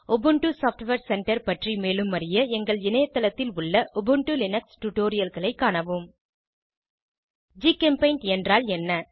Ubuntu software centre பற்றி மேலும் அறிய எங்கள் இணைய தளத்தில் உள்ள உபுண்டு லினக்ஸ் டுடோரியல்களை காணவும் ஜிகெம்பெய்ண்ட் என்றால் என்ன